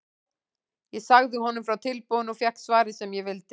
Ég sagði honum frá tilboðinu og fékk svarið sem ég vildi.